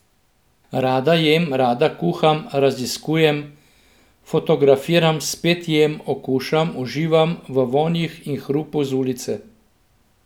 Rada jem, rada kuham, raziskujem, fotografiram, spet jem, okušam, uživam v vonjih in hrupu z ulice.